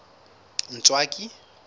ntswaki